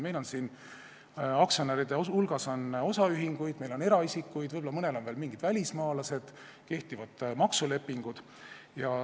Meil on aktsionäride hulgas osaühinguid, meil on eraisikuid, võib-olla mõnel pool on välismaalased, on kehtivad maksulepingud.